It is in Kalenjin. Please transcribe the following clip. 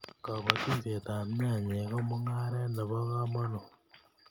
kabatishiet ab nyanyek ko mungaret nebo kamangut